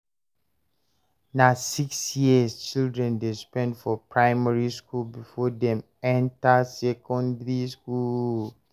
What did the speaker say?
Na six years children dey spend for primary skool before dem enta secondary skool.